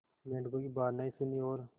मेंढकों की बात नहीं सुनी और